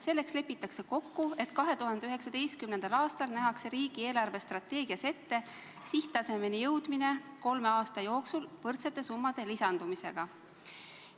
Selleks lepiti kokku, et 2019. aastal nähakse riigi eelarvestrateegias ette sihttasemeni jõudmine kolme aasta jooksul võrdsete summade lisandumisega.